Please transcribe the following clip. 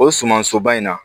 O sumansoba in na